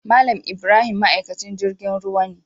Mal Ibrahim ma'aikaci jirgin ruwa ne.